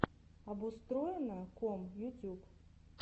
обустроено ком ютюб